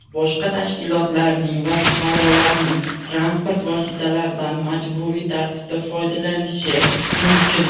boshqa tashkilotlarning va fuqarolarning transport vositalaridan majburiy tartibda foydalanishi mumkin;.